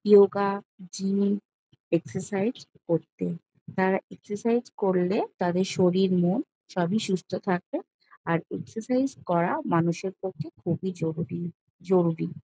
Yoga gym exercise করতে তারা exercise করলে তাদের শরীর মন সবই সুস্থ থাকে আর এক্সারসাইজ করা মানুষের পক্ষে খুবই জরুরি জরুরি।